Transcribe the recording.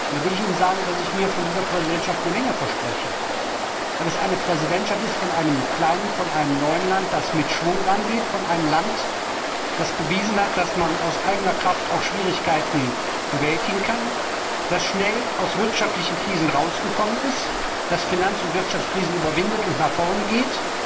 Da will ich Ihnen sagen, dass ich mir von dieser Präsidentschaft eine Menge verspreche, weil das eine Präsidentschaft eines kleinen, neuen Lands ist, das mit Schwung rangeht, eines Lands, das bewiesen hat, dass man aus eigener Kraft auch Schwierigkeiten bewältigen kann, das schnell aus wirtschaftlichen Krisen herausgekommen ist, das Finanz und Wirtschaftskrisen überwindet und nach vorne geht,